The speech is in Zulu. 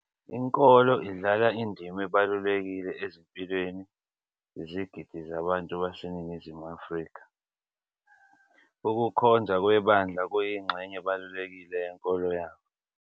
Inkolo idlala indima ebalulekile ezimpilweni zezigidi zabantu baseNingizimu Afrika, ukukhonza kwebandla kuyingxenye ebalulekile yenkolo yabo.